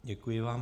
Děkuji vám.